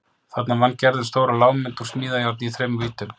Þarna vann Gerður stóra lágmynd úr smíðajárni í þremur víddum.